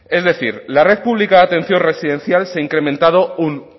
es decir la red pública de atención residencial se ha incrementado un